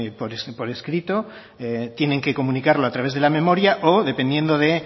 por escrito tienen que comunicarlo a través de la memoria o dependiendo de